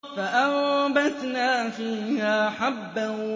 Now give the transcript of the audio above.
فَأَنبَتْنَا فِيهَا حَبًّا